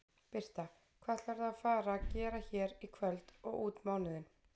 Birta: Hvað ætlarðu að fara gera hér í kvöld og út mánuðinn?